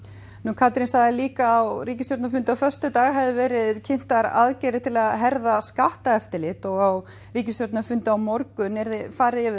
Katrín sagði að á ríkisstjórnarfundi á föstudag hafi verið kynntar aðgerðir til að herða skattaeftirlit og á ríkisstjórnarfundi á morgun yrði farið yfir